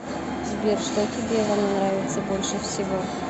сбер что тебе во мне нравится больше всего